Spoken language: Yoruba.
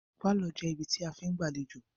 Pálọ̀ jẹ́ ibi tí a fí ń gbàléjọ̀